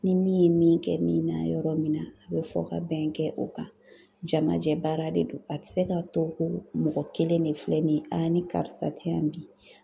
Ni min ye min kɛ min na yɔrɔ min na , a bɛ fɔ ka bɛn kɛ o kan, jamajɛ baara de don ,a tɛ se ka to ko mɔgɔ kelen de filɛ nin ye , ni karisa tɛ yan bi.